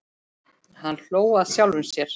Hann hló að sjálfum sér.